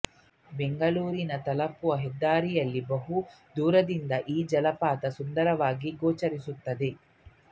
ಬೆಂಗಳೂರಿಗೆ ತಲುಪುವ ಹೆದ್ದಾರಿಯಲ್ಲಿ ಬಹು ದೂರದಿಂದ ಈ ಜಲಪಾತ ಸುಂದರವಾಗಿ ಗೋಚರಿಸುತ್ತದೆ